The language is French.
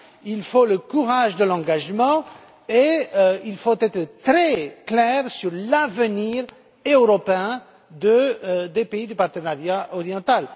Il faut le courage de l'engagement et il faut être très clair sur l'avenir européen des pays du partenariat oriental.